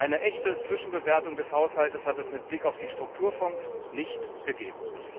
Eine echte Zwischenbewertung des Haushaltes hat es mit Blick auf die Strukturfonds nicht gegeben.